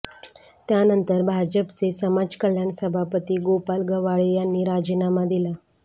त्यानंतर भाजपचे समाजकल्याण सभापती गोपाल गव्हाळे यांनी राजीनामा दिला